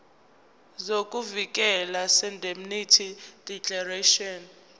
sokuvikeleka seindemnity declaration